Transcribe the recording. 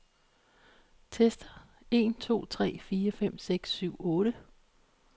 Tester en to tre fire fem seks syv otte.